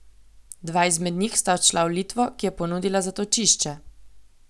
Dva izmed njih sta odšla v Litvo, ki je ponudila zatočišče.